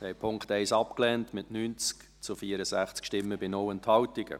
Sie haben den Punkt 1 abgelehnt, mit 90 zu 64 Stimmen bei 0 Enthaltungen.